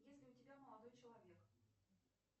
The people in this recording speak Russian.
есть ли у тебя молодой человек